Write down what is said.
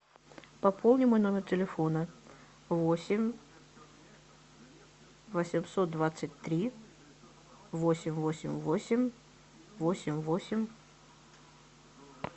пополни мой номер телефона восемь восемьсот двадцать три восемь восемь восемь восемь восемь